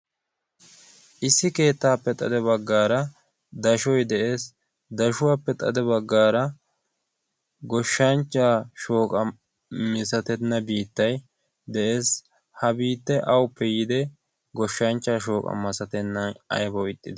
issi keettaappe xade baggaara dashoy de'ees dashuwaappe xade baggaara goshshanchcha shooqa misatenna biittay de'ees ha biitta auppe yiide goshshanchcha shooqa masatennan aybawu ixxisa